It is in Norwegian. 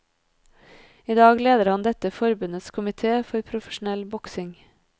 I dag leder han dette forbundets komité for profesjonell boksing.